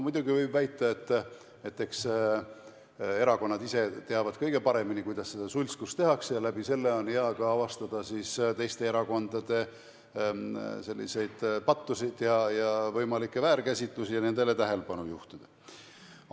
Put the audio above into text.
Muidugi võib väita, et eks erakonnad ise teavad kõige paremini, kuidas seda tehakse, ning läbi selle on hea ka avastada siis teiste erakondade pattusid ja võimalikke väärkäsitlusi ja nendele tähelepanu juhtida.